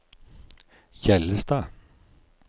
Hjellestad